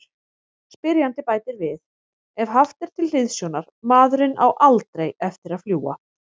Spyrjandi bætir við: Ef haft er til hliðsjónar:.maðurinn á ALDREI eftir að fljúga.